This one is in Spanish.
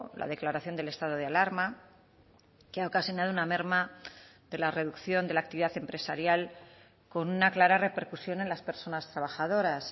la declaración del estado de alarma que ha ocasionado una merma de la reducción de la actividad empresarial con una clara repercusión en las personas trabajadoras